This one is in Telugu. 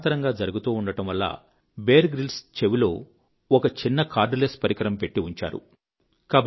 సమాంతరంగా జరుగుతుండడం వల్ల బియర్ గ్రిల్స్ చెవిలో ఒక చిన్న కార్డ్ లెస్ పరికరం పెట్టి ఉంచారు